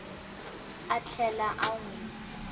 a tlhela a n wi